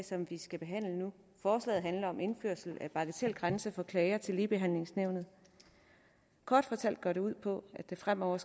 som vi skal behandle nu forslaget handler om en indførelse af en bagatelgrænse for klager til ligebehandlingsnævnet kort fortalt går det ud på at der fremover